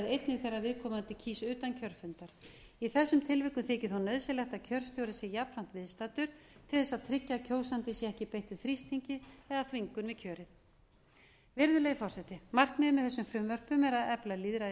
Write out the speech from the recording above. einnig þegar viðkomandi kýs utan kjörfundar í þessum tilvikum þykir þó nauðsynlegt að kjörstjóri sé jafnframt viðstaddur til þess að tryggja að kjósandinn sé ekki beittur þrýstingi eða þvingun við kjörið virðulegi forseti markmiðið með þessum frumvörpum er að efla lýðræði í